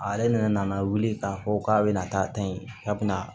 Ale nana wuli k'a fɔ k'a bɛna taa ta in k'a bɛna